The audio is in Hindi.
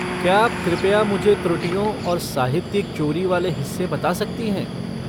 क्या आप कृपया मुझे त्रुटियों और साहित्यिक चोरी वाले हिस्से बता सकती हैं?